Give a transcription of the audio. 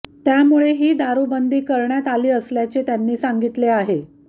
त्यामुळे ही दारूबंदी करण्यात आली असल्याचे त्यांनी सांगितले आहे